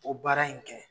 O baara in kɛ